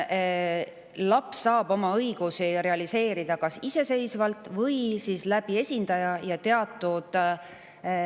Laps saab oma õigusi realiseerida kas iseseisvalt või esindaja abil.